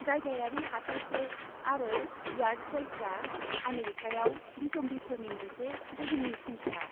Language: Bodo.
जायगायारि हाथायफोर आरो यार्ड सेलफ्रा आमेरिकायाव बिसम्बिफोरनि मोनसे दोहोननि फुंखा।